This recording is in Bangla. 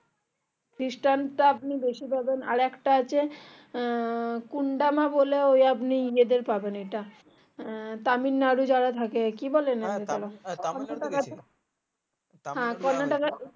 খ্রিষ্টান তা আপনি বেশি পাবেন আর একটা আছে আহ কুন্দামা বলে ওই আপনি এদের পাবেন এটা আহ তামিলনাড়ু যারা থাকে আর কি